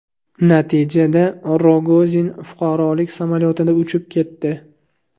Natijada Rogozin fuqarolik samolyotida uchib ketdi.